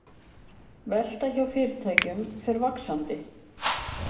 Velta hjá fyrirtækjum fer vaxandi